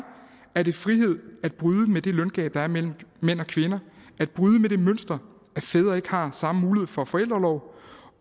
er det frihed at bryde med det løngab der er mellem mænd og kvinder at bryde med det mønster at fædre ikke har samme mulighed for forældreorlov